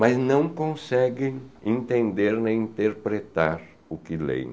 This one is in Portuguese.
Mas não conseguem entender nem interpretar o que leem.